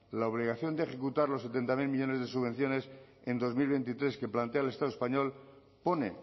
la obligación de ejecutar los setenta mil millónes de subvenciones en dos mil veintitrés que plantea el estado español pone